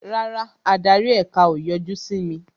Rárá, adarí èka o yọjú sí mi